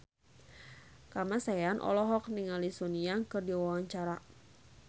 Kamasean olohok ningali Sun Yang keur diwawancara